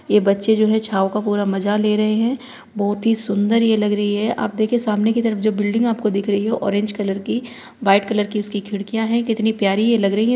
यह बच्चे जो है छांव का पूरा मजा ले रहे हैं बोहोत ही सुंदर ये लग रही है आप देखे सामने की तरफ जो बिल्डिंग आपको दिख रही हो ऑरेंज कलर की वाइट कलर की उसकी खिड़कियां है कितनी प्यारी ये लग रही है।